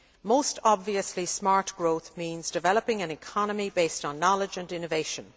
Most obviously, smart growth means developing an economy based on knowledge and innovation.